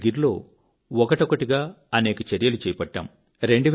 మేము గిర్ లో ఒకటొకటిగా అనేక చర్యలు చేపట్టాము